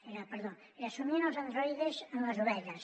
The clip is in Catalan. ai perdó era somien els androides amb les ovelles